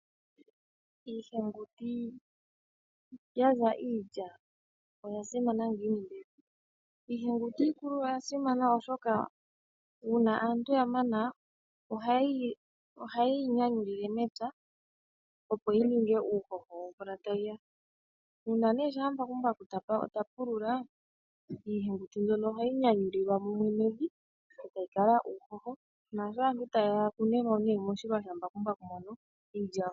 Iihenguti ya za iilya oya simana ngiini mbela? Iihenguti iikulu oya simana oshoka, uuna aantu ya mana oha ye yi nyanyulile mepya opo yi ninge uuhoho womvula ta yi ya. Uuna nee shaa mbakumbaku ta pulula, iihenguti mbyono ohayi nyanyulilwa mumwe nevi, eta yi kala uuhoho naasho aantu ta ye ya yakunemo nee moshilwa shambakumbaku mono,